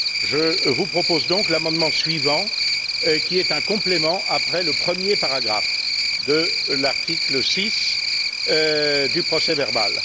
Je vous propose donc l'amendement suivant, qui est un complément après le premier paragraphe de l'article 6 du procès verbal.